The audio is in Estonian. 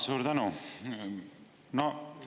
Suur tänu!